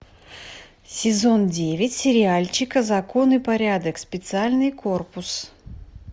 сезон девять сериальчик закон и порядок специальный корпус